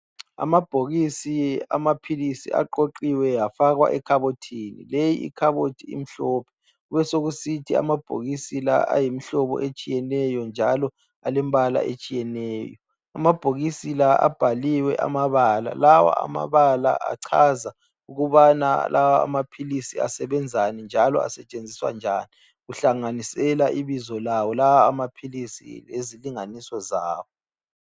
Amabhokisi amaphilisi aqoqiwe afakwa ekhabothini. Le ikhabothi imhlophe. Besekusithi amabhokisi la ayimhlobo etshiyeneyo njalo alembala etshiyeneyo. Amabhokisi la abhaliwe amabala. Lawa amabala achaza ukubana lawa amaphilisi asebenzani njalo asetshenziswa njani. Kuhlanganisela ibizo lawo lawa amaphilisi lezilinganiso zawo.